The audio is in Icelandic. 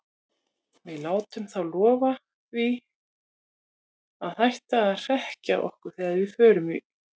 Við látum þá lofa því að hætta að hrekkja okkur þegar við förum í